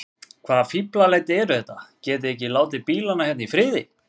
Hvaða fíflalæti eru þetta. getiði ekki látið bílana hérna í friði!